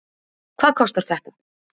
hvað kostar þetta